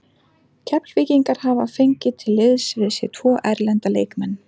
Keflvíkingar hafa fengið til liðs við sig tvo erlenda leikmenn.